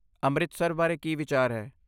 ਅੰਮ੍ਰਿਤਸਰ ਬਾਰੇ ਕੀ ਵਿਚਾਰ ਹੈ?